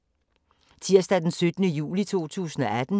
Tirsdag d. 17. juli 2018